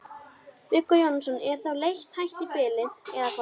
Viggó Jónsson: Er þá leit hætt í bili eða hvað?